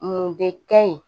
Mun de ka ɲi